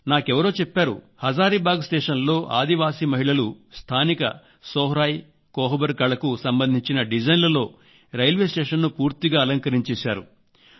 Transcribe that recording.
నాకెవరో చెప్పారు హజారీబాగ్ స్టేషన్ లో ఆదివాసీ మహిళలు స్థానిక సోహ్రాయికోహబర్ కళకు సంబంధించిన డిజైన్లలో రైల్వే స్టేషన్ ను పూర్తిగా అలంకరించేశారు